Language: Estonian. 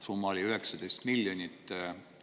Summa oli 19 miljonit.